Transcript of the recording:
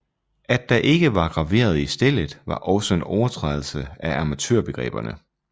At der ikke var graveret i stellet var også en overtrædelse af amatørbegreberne